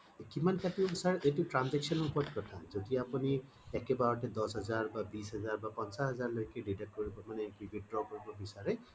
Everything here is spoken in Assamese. কিমান কাতিব বিছাৰে সেইটো transaction ৰ উপৰত কথা যেতিয়া আপুনি আকেবাৰতে দশ হাজাৰ বা বিছ হাজাৰ বা পঞ্চাছ হাজাৰ লৈকে deduct withdraw কৰিব বিচাৰে